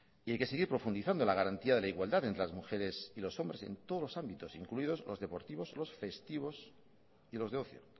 y hay que seguir profundizando la garantía de la igualdad entre las mujeres y los hombres en todos los ámbitos incluidos los deportivos los festivos y los de ocio